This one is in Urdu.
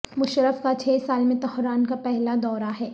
مشرف کا چھ سال میں تہران کا پہلا دورہ ہے